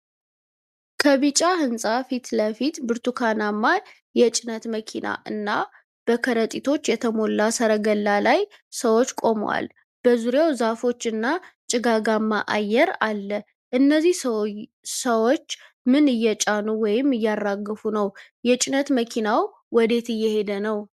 ከቢጫ ሕንፃ ፊት ለፊት፣ ብርቱካናማ የጭነት መኪና እና በከረጢቶች የተሞላ ሰረገላ ላይ ሰዎች ቆመዋል። በዙሪያው ዛፎች እና ጭጋጋማ አየር አለ። እነዚህ ሰዎች ምን እየጫኑ ወይም እያራገፉ ነው? የጭነት መኪናው ወዴት እየሄደ ነው?